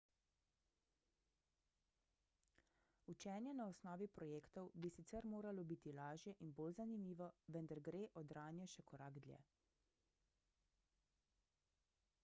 učenje na osnovi projektov bi sicer moralo biti lažje in bolj zanimivo vendar gre odranje še korak dlje